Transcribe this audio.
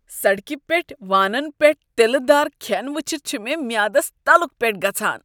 سڑکہ پیٹھ وانن پٮ۪ٹھ تِلہٕ دار کھٮ۪ن وٕچھتھ چھُ مےٚ میٛادس تلُک پٮ۪ٹھ گژھان۔